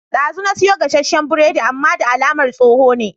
Dazu na siyo gasashen biredi amman da alamar tsoho ne